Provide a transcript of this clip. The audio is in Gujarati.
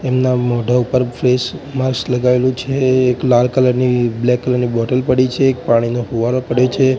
એમના મોઢા ઉપર ફેસ માસ્ક લગાવેલું છે એક લાલ કલર ની બ્લેક કલર ની બોટલ પડી છે એક પાણીનો ફુવારો પડ્યો છે.